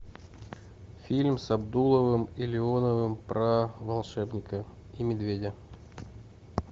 фильм с абдуловым и леоновым про волшебника и медведя